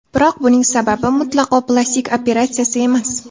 Biroq buning sababi mutlaqo plastik operatsiyasi emas.